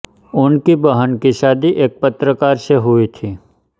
उनकी बहन की शादी एक पत्रकार से हुई थी